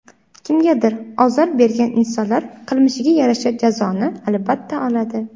Kimgadir ozor bergan insonlar qilmishiga yarasha jazoni, albatta, oladi.